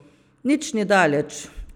Nič ni daleč.